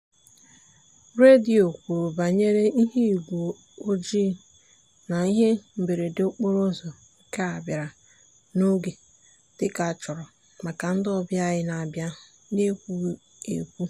redio kwuru banyere ihuigwe oji na ihe mberede okporo ụzọ nke a bịara n'oge dịka a chọrọ maka ndị ọbịa anyị na-abịa n'ekwughị ekwu.